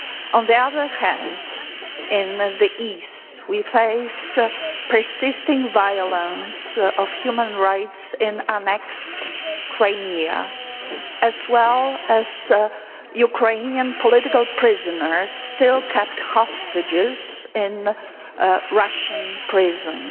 On the other hand, in the east we face persisting violence of human rights in annexed Crimea as well as Ukrainian political prisoners still kept hostage in Russian prisons.